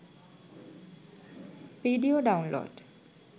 video download